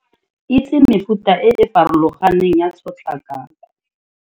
Itse mefuta e e farologaneng ya tshotlakako.